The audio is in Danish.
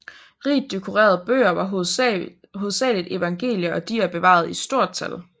Rigt dekorerede bøger var hovedsageligt evangelier og de er bevaret i stort tal